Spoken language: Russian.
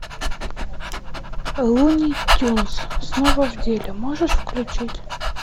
луни тюнз снова в деле можешь включить